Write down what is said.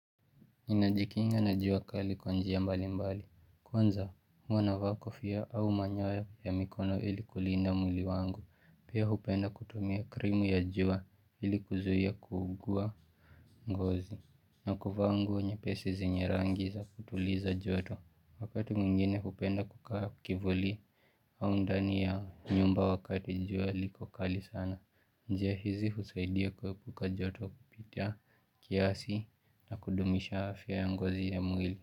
Ninajikinga na jua kali kwa njia mbali mbali. Kwanza huwana vaa kofia au manyoya ya mikono ili kulinda mwili wangu. Pia hupenda kutumia krimu ya jua ili kuzuhia kuugua ngozi. Na kuvaa ngu nyepesi zenye rangi za kutuliza joto Wakati mwingine hupenda kukaa kivuli au ndani ya nyumba wakati jua liko kali sana njia hizi husaidia kuepuka joto kupita kiasi na kudumisha afya ya ngozi ya mwili.